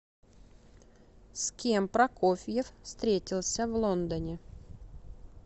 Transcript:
с кем прокофьев встретился в лондоне